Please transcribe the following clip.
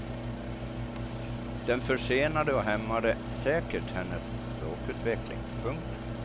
Den försenade och hämmade säkert hennes språkutveckling. punkt